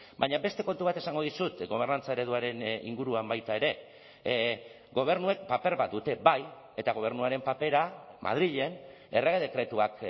baina beste kontu bat esango dizut gobernantza ereduaren inguruan baita ere gobernuek paper bat dute bai eta gobernuaren papera madrilen errege dekretuak